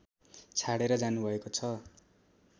छाडेर जानुभएको छ